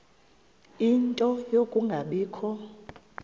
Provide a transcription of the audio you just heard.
ie nto yokungabikho